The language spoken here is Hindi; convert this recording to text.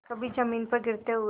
कभी जमीन पर गिरते हुए